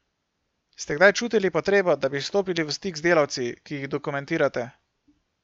Ste kdaj čutili potrebo, da bi stopili v stik z delavci, ki jih dokumentirate?